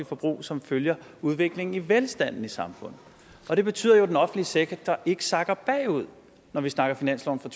forbrug som følger udviklingen i velstanden i samfundet og det betyder jo at den offentlige sektor ikke sakker bagud når vi snakker finansloven for